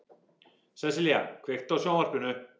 Sessilía, kveiktu á sjónvarpinu.